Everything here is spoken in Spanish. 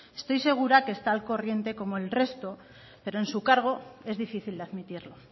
estoy segura que está al corriente como el resto pero en su cargo es difícil de admitirlo